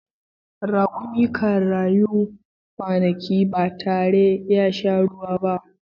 Rakumi kan rayu kwanaki ba tare ya sha ruwa ba.